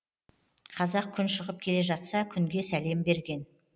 қазақ күн шығып келе жатса күнге сәлем берген